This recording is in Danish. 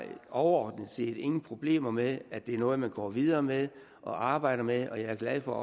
overordnet set ingen problemer med at det er noget man går videre med og arbejder med og jeg er glad for